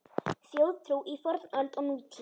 Þjóðtrú í fornöld og nútíð